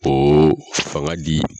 O fanga di